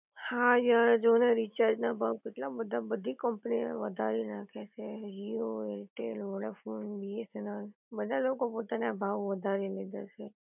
હા યાર જોને રીચાર્જ ના ભાવ કેટલા બધા બધી કંપની ના વધારી નાખે છે જીઓ, એરટેલ, વોડાફોન, બીએસએનએલ બધા લોકો પોતાના ભાવ વધારી લીધા છે